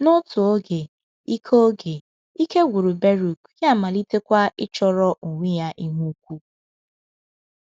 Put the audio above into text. N’otu oge, ike oge, ike gwụrụ Beruk, ya amalitekwa ịchọrọ onwe ya ihe ukwu.